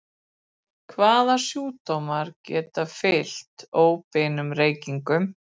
Hvaða sjúkdómar geta fylgt óbeinum reykingum?